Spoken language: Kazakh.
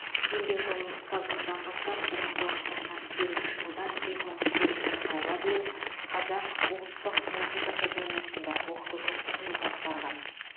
еңбек жолын ұстаздықтан бастап бір мың тоғыз жүз тоқсан сегізінші жылдан екі мың сегізінші жылға дейін қазақ ұлттық музыка академиясында оқытушылық қызмет атқарған